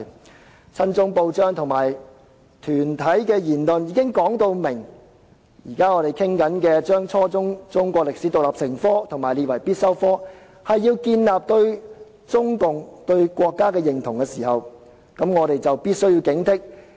當親中報章和團體的言論表明，討論規定初中中史獨立成科和將之列為必修科是要建立對中國和國家的認同，我們便必須加以警惕。